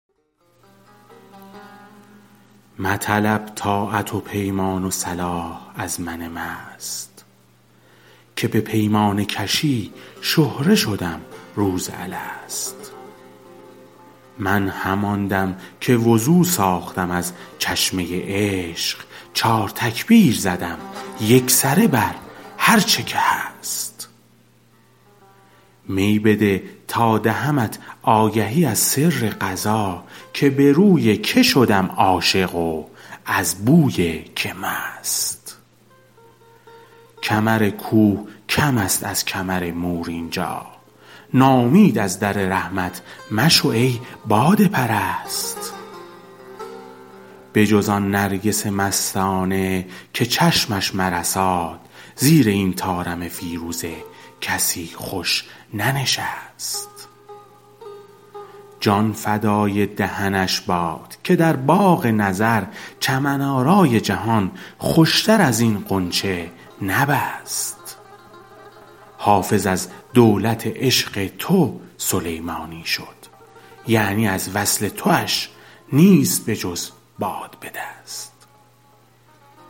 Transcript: مطلب طاعت و پیمان و صلاح از من مست که به پیمانه کشی شهره شدم روز الست من همان دم که وضو ساختم از چشمه عشق چار تکبیر زدم یکسره بر هرچه که هست می بده تا دهمت آگهی از سر قضا که به روی که شدم عاشق و از بوی که مست کمر کوه کم است از کمر مور اینجا ناامید از در رحمت مشو ای باده پرست بجز آن نرگس مستانه که چشمش مرساد زیر این طارم فیروزه کسی خوش ننشست جان فدای دهنش باد که در باغ نظر چمن آرای جهان خوشتر از این غنچه نبست حافظ از دولت عشق تو سلیمانی شد یعنی از وصل تواش نیست بجز باد به دست